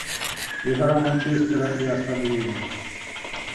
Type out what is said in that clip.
игра манчестера и астон виллы